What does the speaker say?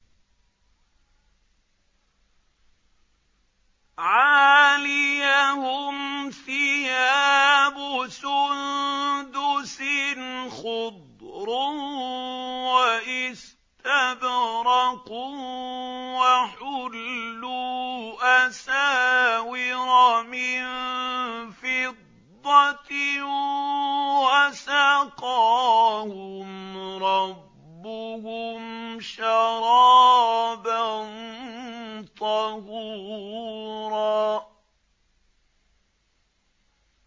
عَالِيَهُمْ ثِيَابُ سُندُسٍ خُضْرٌ وَإِسْتَبْرَقٌ ۖ وَحُلُّوا أَسَاوِرَ مِن فِضَّةٍ وَسَقَاهُمْ رَبُّهُمْ شَرَابًا طَهُورًا